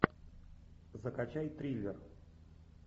закачай триллер